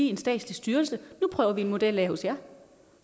en statslig styrelse at nu prøver vi en model af hos jer